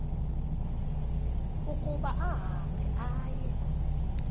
ukuba ahambe aye